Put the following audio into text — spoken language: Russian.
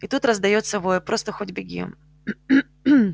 и тут раздаётся вой просто хоть беги